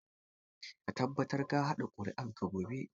Ka tabbata ka kaɗa ƙuri'arka gobe.